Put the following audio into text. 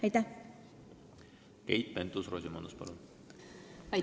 Keit Pentus-Rosimannus, palun!